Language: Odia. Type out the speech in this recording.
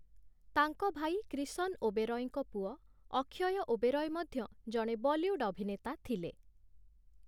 ତାଙ୍କ ଭାଇ କ୍ରିଷନ ଓବେରୟଙ୍କ ପୁଅ ଅକ୍ଷୟ ଓବେରୟ ମଧ୍ୟ ଜଣେ ବଲିଉଡ଼ ଅଭିନେତା ଥିଲେ ।